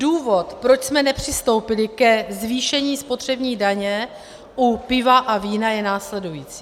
Důvod, proč jsme nepřistoupili ke zvýšení spotřební daně u piva a vína, je následující.